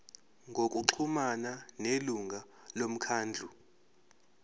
ngokuxhumana nelungu lomkhandlu